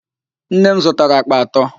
Nne m zụtara àkpà atọ.